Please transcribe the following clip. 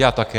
Já také.